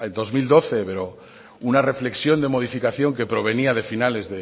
dos mil doce pero una reflexión de modificación que provenía de finales